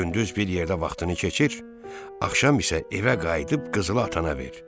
Gündüz bir yerdə vaxtını keçir, axşam isə evə qayıdıb qızılı atana ver.